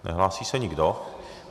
Nehlásí se nikdo.